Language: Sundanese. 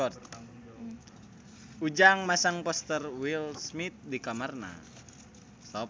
Ujang masang poster Will Smith di kamarna